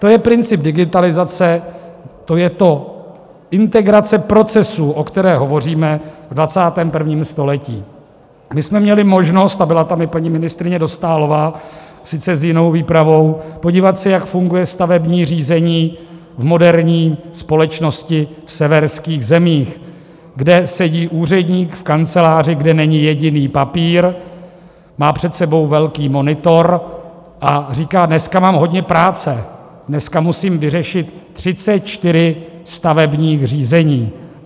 To je princip digitalizace, to je to, integrace procesů, o které hovoříme, v 21. století, kdy jsme měli možnost - a byla tam i paní ministryně Dostálová, sice s jinou výpravou - podívat se, jak funguje stavební řízení v moderní společnosti v severských zemích, kde sedí úředník v kanceláři, kde není jediný papír, má před sebou velký monitor a říká: Dneska mám hodně práce, dneska musím vyřešit 34 stavebních řízení.